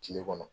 Kile kɔnɔ